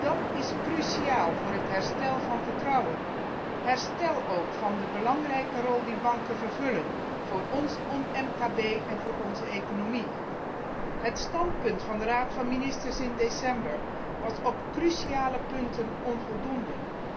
Dat is cruciaal voor het herstel van het vertrouwen en ook voor het herstel van de belangrijke rol die banken vervullen voor ons MKB en voor onze economie. Het standpunt van de Raad van ministers in december was op cruciale punten onvoldoende.